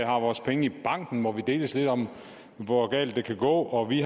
vores penge i banken hvor vi deles lidt om hvor galt det kan gå og vi